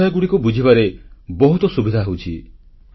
ବିଷୟଗୁଡ଼ିକ ବୁଝିବାରେ ବହୁତ ସୁବିଧା ହେଉଛି